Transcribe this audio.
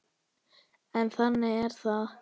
En þannig er það.